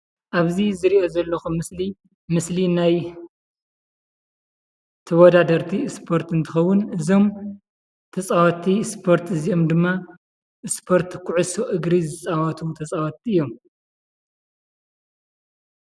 ኣብዚ ዝሪኦ ዘለኩ ምስሊ ምስሊ ናይ ተወዳደርቲ ስፖርቲ እንትከዉን እዞም ተፃወቲ ስፖርት እዚኦም ድማ ስፖርት ኮዕሶ እግሪ ዝፃወቱ ተፃወቲ እዮም ።